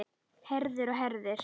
Herðir og herðir.